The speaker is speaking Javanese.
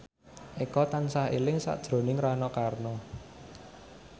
Eko tansah eling sakjroning Rano Karno